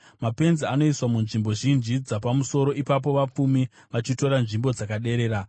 Mapenzi anoiswa munzvimbo zhinji dzapamusoro, ipapo vapfumi vachitora nzvimbo dzakaderera.